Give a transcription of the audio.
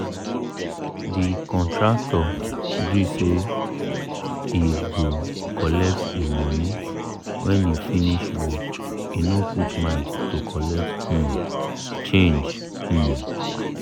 the contractor gree say he cgo collect him money when he finish work he no put mind to colet um change um